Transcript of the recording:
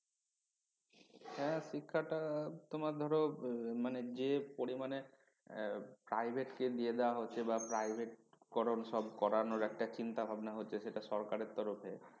হ্যাঁ শিক্ষাটা তোমার ধরো মানে যে পরিমানে private কে দিয়ে দেওয়া হচ্ছে বা private করণ সব করানোর একটা চিন্তাভাবনা হচ্ছে সেটা সরকারের তরফে